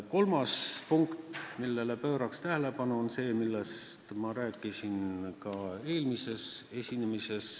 Kolmas punkt, millele juhin tähelepanu, on see, millest ma rääkisin ka eelmises esinemises.